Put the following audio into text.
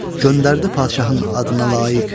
Göndərdi padşahın adına layiq.